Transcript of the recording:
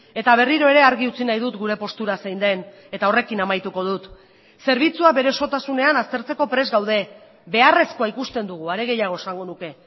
eta berriro ere argi utzi nahi dut gure postura zein den eta horrekin amaituko dut zerbitzua bere osotasunean aztertzeko prest gaude beharrezkoa ikusten dugu are gehiago esango nuke